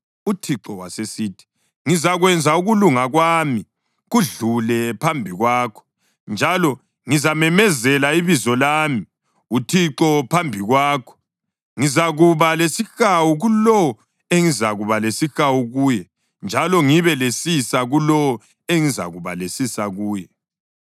UThixo wasesithi, “Ngizakwenza ukulunga kwami kudlule phambi kwakho, njalo ngizamemezela ibizo lami, uThixo, phambi kwakho. Ngizakuba lesihawu kulowo engizakuba lesihawu kuye njalo ngibe lesisa kulowo engizakuba lesisa kuye.”